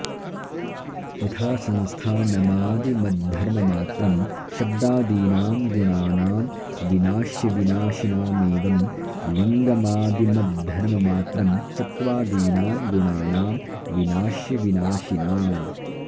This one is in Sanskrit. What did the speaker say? यथा संस्थानमादिमद्धर्ममात्रं शब्दादीनां गुणानां विनाश्यविनाशिनामेवं लिङ्गमादिमद्धर्ममात्रं सत्त्वादीनां गुणानां विनाश्यविनाशिनाम्